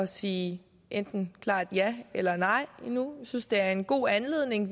sige enten klart ja eller nej endnu vi synes det er en god anledning